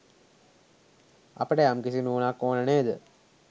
අපට යම්කිසි නුවණක් ඕන නේද?